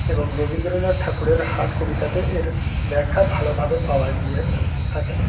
এবং রবীন্দ্রনাথ ঠাকুরের হাট কবিতাতে এর ব্যাখ্যা ভালোভাবে পাওয়া গিয়ে আ থাকে।